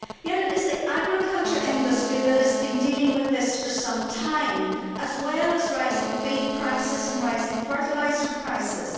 It is, however, the agricultural industry which has been dealing with this for some time, as well as rising feed prices and rising fertiliser prices.